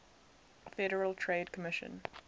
federal trade commission